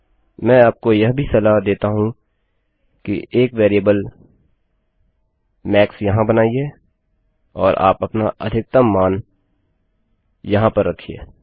मैं आपको यह भी सलाह देता हूँ कि एक वेरिएबल मैक्स यहाँ बनाइए और आप अपना अधिकतम मान यहाँ पर रखिये